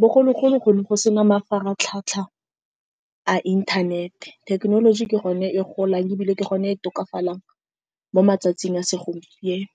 Bogologolo go ne go sena mafaratlhatlha a inthanete. Thekenoloji ke gone e golang, ebile ke gone e tokafalang mo matsatsing a segompieno.